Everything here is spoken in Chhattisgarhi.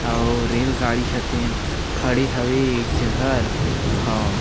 और रेल गाड़ी ह ये तीर खड़े हवे एक जगह हव--